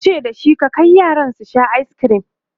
yace da shi"ka Kai yaran su Sha ayiskirim!"